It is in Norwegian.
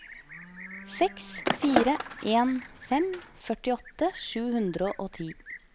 seks fire en fem førtiåtte sju hundre og ti